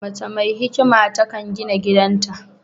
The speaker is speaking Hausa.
Mace mai hikima ta kan gina gidan ta